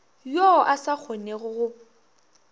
yo a sa kgonego go